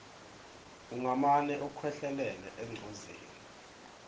ungamane ukhwehlelele engcozeni